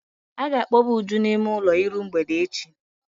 A ga-akpọba Uju n'ime ụlọ iru mgbede echi.